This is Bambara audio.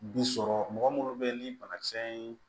Bi sɔrɔ mɔgɔ munnu bɛ yen ni banakisɛ ye